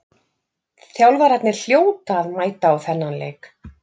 Þjálfararnir hljóta að mæta á þennan leik.